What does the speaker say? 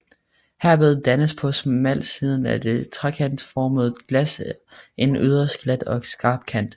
Herved dannes på smalsiden af det trekantformede glas en yderst glat og skarp kant